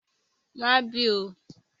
Má bì oo!